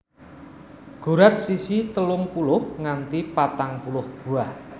Gurat sisi telung puluh nganti patang puluh buah